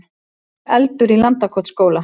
Eldur í Landakotsskóla